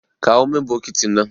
Kawo min bokitin nan.